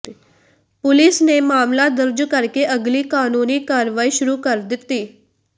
police ਨੇ ਮਾਮਲਾ ਦਰਜ ਕਰਕੇ ਅਗਲੀ ਕਾਨੂੰਨੀ ਕਾਰਵਾਈ ਸ਼ੁਰੂ ਕਰ ਦਿੱਤੀ